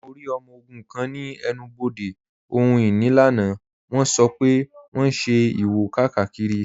Mọ̀ rí ọmọ ogun̄ kan ni ènù-bodè ohun-inì lánà, wọ̣n sọ́ pẹ̀ wọ̣n n ṣẹ̀ ìwò-kákírí.